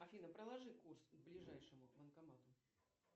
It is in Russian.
афина проложи курс к ближайшему банкомату